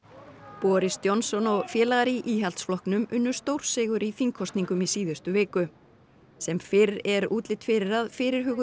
boris Johnson og félagar í Íhaldsflokknum unnu stórsigur í þingkosningum í síðustu viku sem fyrr er útlit fyrir að fyrirhuguð